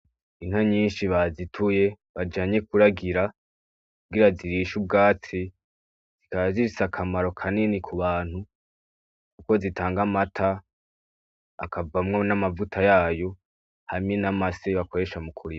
Inka nyinshi bazituye bajanye kuragira kugira zirishe ubwatsi, zikaba zifise akamaro kanini k'ubantu kuko zitanga amata, akavamwo n'amavuta yayo hamwe n'amase bakoresha mu kurima.